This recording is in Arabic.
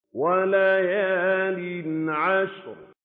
وَلَيَالٍ عَشْرٍ